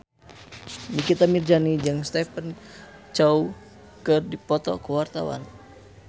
Nikita Mirzani jeung Stephen Chow keur dipoto ku wartawan